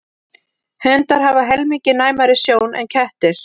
Hundar hafa helmingi næmari sjón en kettir.